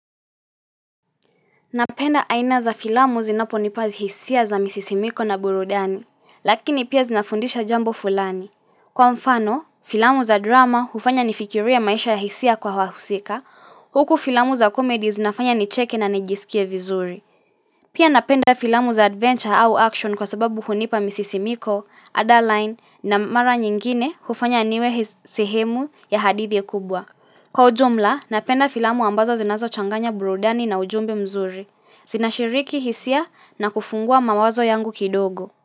Napenda aina za filamu zinaponipa hisia za misisimko na burudani, lakini pia zinafundisha jambo fulani. Kwa mfano, filamu za drama hufanya nifikirie maisha ya hisia kwa wahusika, huku filamu za comedy zinafanya nicheke na nijisikie vizuri. Pia napenda filamu za adventure au action kwa sababu hunipa misisimiko, adeline na mara nyingine hufanya niwe sehemu ya hadithi kubwa. Kwa ujumla, napenda filamu ambazo zinazochanganya burudani na ujumbe mzuri. Zinashiriki hisia na kufungua mawazo yangu kidogo.